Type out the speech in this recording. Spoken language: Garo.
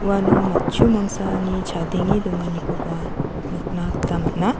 uano matchu mangsani chadenge donganikoba nikna gita man·a.